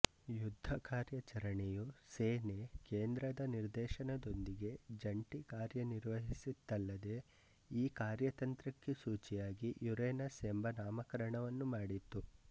ಯುದ್ಧ ಕಾರ್ಯಚರಣೆಯು ಸೇನೆ ಕೇಂದ್ರದ ನಿರ್ದೇಶನದೊಂದಿಗೆ ಜಂಟಿ ಕಾರ್ಯನಿರ್ವಹಿಸಿತ್ತಲ್ಲದೆ ಈ ಕಾರ್ಯತಂತ್ರಕ್ಕೆ ಸೂಚಿಯಾಗಿ ಯುರೇನಸ್ ಎಂಬ ನಾಮಕರಣವನ್ನು ಮಾಡಿತ್ತು